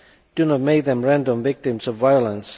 Do not make them random victims of violence.